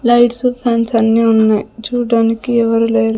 Lights fans అన్నీ ఉన్నాయి చూడ్డానికి ఎవరు లేరు.